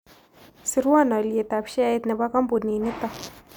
Sirwan alyetap sheait ne po kampunin niton